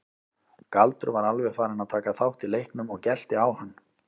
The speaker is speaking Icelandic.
Galdur var alveg farinn að taka þátt í leiknum og gelti á hann.